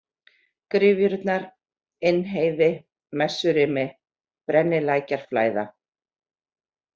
Gryfjurnar, Innheiði, Messurimi, Brennilækjarflæða